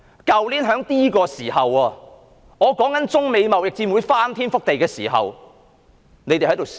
去年這個時候，我談及中美貿易戰會翻天覆地，大家在笑......